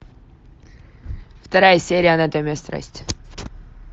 вторая серия анатомия страсти